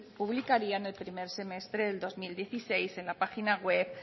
publicarían en el primer semestre de dos mil dieciséis en la página web